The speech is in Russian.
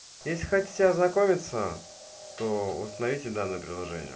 если хотите ознакомиться то установите данное приложение